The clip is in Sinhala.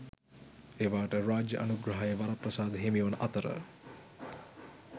ඒවාට රාජ්‍ය අනුග්‍රහය වරප්‍රසාද හිමිවන අතර